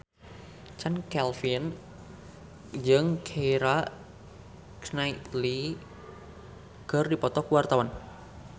Chand Kelvin jeung Keira Knightley keur dipoto ku wartawan